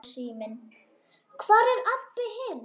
Hvar er Abba hin?